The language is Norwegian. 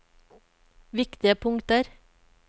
viktige punkter